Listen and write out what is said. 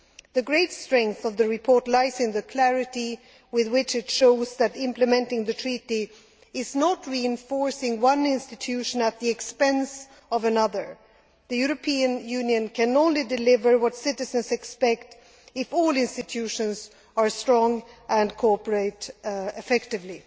The great strength of the report lies in the clarity with which it shows that implementing the Treaty is not reinforcing one institution at the expense of another the European Union can only deliver what citizens expect if all Institutions are strong and cooperate effectively.